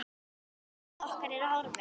Ruth okkar er horfin.